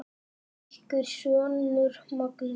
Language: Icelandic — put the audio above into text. Ykkar sonur, Magnús.